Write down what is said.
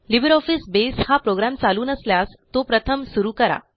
LibreOffice बसे हा program चालू नसल्यास तो प्रथम सुरू करा